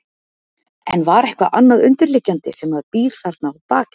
Eða var eitthvað annað undirliggjandi sem að býr þarna að baki?